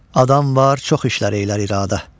Adam var çox işlər eylər iradə.